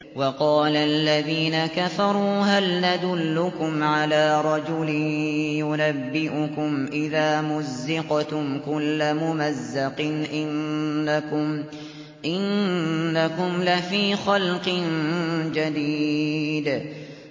وَقَالَ الَّذِينَ كَفَرُوا هَلْ نَدُلُّكُمْ عَلَىٰ رَجُلٍ يُنَبِّئُكُمْ إِذَا مُزِّقْتُمْ كُلَّ مُمَزَّقٍ إِنَّكُمْ لَفِي خَلْقٍ جَدِيدٍ